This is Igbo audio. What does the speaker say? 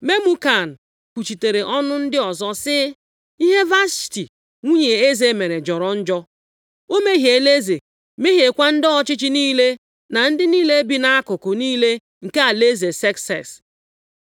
Memukan kwuchitere ọnụ ndị ọzọ sị, “Ihe Vashti nwunye eze mere jọrọ njọ. O mehiela eze, mehiekwa ndị ọchịchị niile, na ndị niile bi nʼakụkụ niile nke alaeze Sekses.